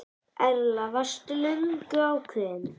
Erla: Varst þú löngu ákveðinn?